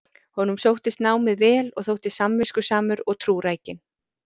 honum sóttist námið vel og þótti samviskusamur og trúrækinn